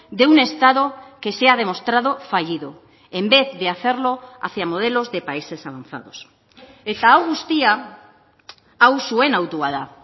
de un estado que se ha demostrado fallido en vez de hacerlo hacia modelos de países avanzados eta hau guztia hau zuen autua da